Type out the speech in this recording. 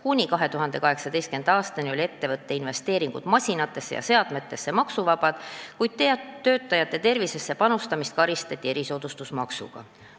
Kuni 2018. aastani olid ettevõtja investeeringud masinatesse ja seadmetesse maksuvabad, kuid töötajate tervisesse panustamist karistati erisoodustusmaksuga.